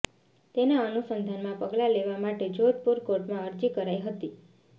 તેના અનુસંધાનમાં પગલાં લેવા માટે જોધપુર કોર્ટમાં અરજી કરાઈ હતી